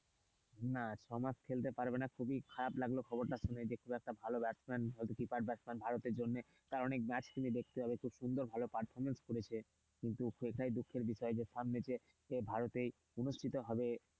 না ছমাস খেলতে পারবে না খুবই খারাপ লাগলো খবরটা শুনে যে খুবই একটা ভালো কিপার ব্যাটসম্যান ভারতের জন্য কারণ খুব সুন্দর performance করেছে কিন্তু সেটাই খুব দুঃখের বিষয় সেই ভারতে অনুষ্ঠিত হবে,